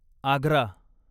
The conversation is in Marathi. आग्रा